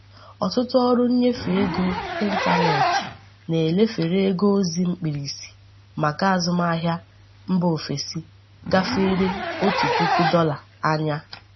Ọtụtụ ọrụ nnyefe ego ịntanetị na-elefere ego ozi mkpirisi maka azụmahịa mba ofesi gáfèrè otu puku dolar ányá.